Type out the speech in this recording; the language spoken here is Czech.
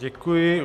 Děkuji.